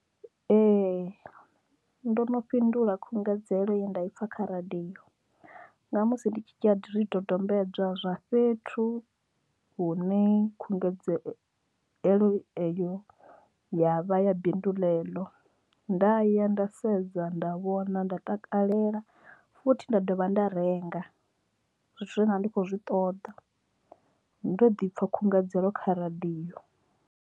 Ee ndo no fhindula khungedzelo ye nda i pfha kha radiyo nga musi ndi tshi dzhia zwidodombedzwa zwa fhethu hune khungedzelo iyo ya vha ya bindu ḽeḽo nda ya nda sedza nda vhona nda takalela futhi nda dovha nda renga zwithu zwe nda ndi kho zwi ṱoḓa ndo ḓi pfha khungedzelo kha radiyo.